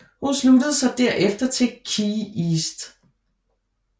Hun sluttede sig derefter til KeyEast